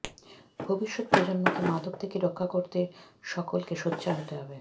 ভবিষ্যৎ প্রজন্মকে মাদক থেকে রক্ষা করতে সকলকে সোচ্চার হতে হবে